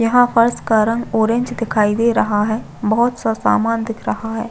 यहाँ फर्श का रंग ऑरेंज दिखाई दे रहा है बहोत सा सामान दिखाई दे रहा है।